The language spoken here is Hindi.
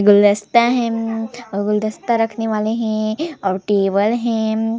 गुलदस्ता है अ और गुलदस्ता रखने वाले है और टेबल है।